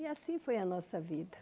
E assim foi a nossa vida.